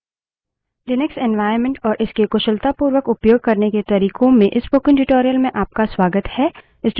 Linux environment और इसके कुशलतापूर्वक उपयोग करने के तरिकों में इस spoken tutorial में आपका स्वागत है